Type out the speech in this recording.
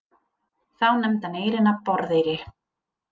Þá nefndi hann eyrina Borðeyri.